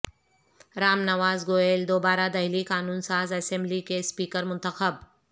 رام نواس گوئل دوبارہ دہلی قانون ساز اسمبلی کے اسپیکر منتخب